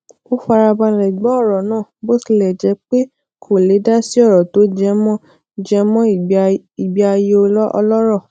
ó fara balè gbó oro naa bó tilè jé pé kò le dasi oro to jemọ jemọ igbé ayé ọlọrọ